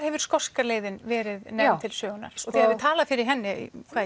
hefur skoska leiðin verið nefnd til sögunnar og þið hafi talað fyrir henni